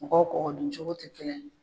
Mɔgɔw kɔgɔduncogo tɛ kelen ye.